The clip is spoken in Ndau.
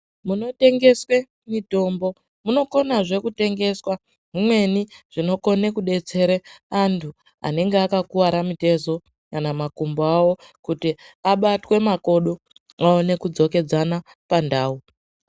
Muno tengeswe mitombo muno konazve kutengeswe zvimweni zvinokone kudetsere antu anenge akakuwara mutezo kana makumbo awo kuti abatwe makodo aone kudzo kedzana pandau.